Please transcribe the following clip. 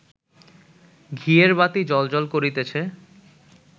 ঘিয়ের বাতি জ্বল্ জ্বল্ করিতেছে